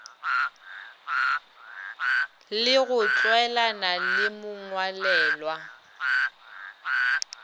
le go tlwaelana le mongwalelwa